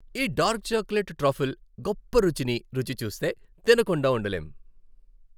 ఈ dark chocolate truffle గొప్ప రుచిని రుచి చూస్తే తినకుండా ఉండలేం.